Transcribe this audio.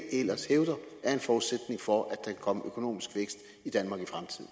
ellers hævder er en forudsætning for at komme økonomisk vækst i danmark